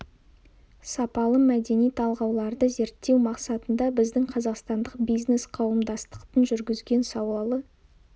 сапалы мәдени талғауларды зерттеу мақсатында біздің қазақстандық бизнес-қауымдастықтың жүргізген сауалы